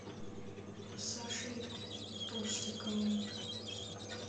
сашей толстиковым